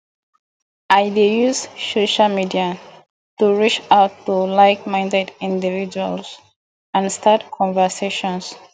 i dey use social media to reach out to likeminded individuals and start conversations